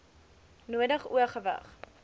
nodig o gewig